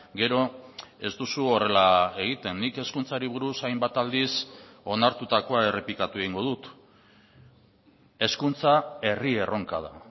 gero ez duzu horrela egiten nik hezkuntzari buruz hainbat aldiz onartutakoa errepikatu egingo dut hezkuntza herri erronka da